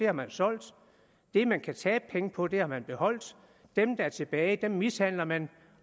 har man solgt det man kan tabe penge på har man beholdt dem der er tilbage mishandler man